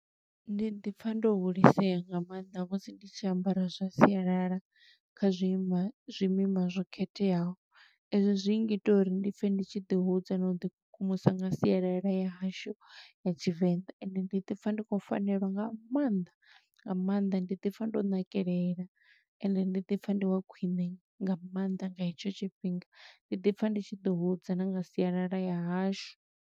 Ndi ḓi pfa ndo hulisea nga maanḓa musi ndi tshi ambara zwa sialala, kha zwiima zwimima zwo khetheaho. E zwo zwi ngita uri ndi pfe ndi tshi ḓi hudza na u ḓi kukumusa nga sialala ya hashu ya Tshivenḓa, ende ndi ḓi pfa ndi khou fanelwa nga maanḓa, nga maanḓa. Ndi ḓi pfa ndo nakelela, ende ndi ḓi pfa ndi wa khwiṋe nga maanḓa nga hetsho tshifhinga. Ndi ḓi pfa ndi tshi ḓi hudza na nga sialala ya hashu.